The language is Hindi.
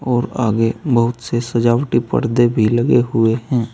और आगे बहुत से सजावटी पर्दे भी लगे हुए हैं।